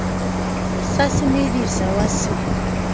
sa se medisa wa se